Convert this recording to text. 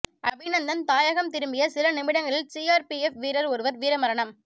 அபிநந்தன் தாயகம் திரும்பிய சில நிமிடங்களில் சிஆர்பிஎஃப் வீரர் ஒருவர் வீரமரணம்